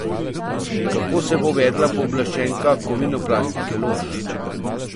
Kako se bo vedla pooblaščenka Kovinoplastike Lož?